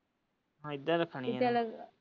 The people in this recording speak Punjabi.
ਇਹਦਾ ਰੱਖਣੀ ਹੈ।